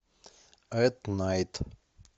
эт найт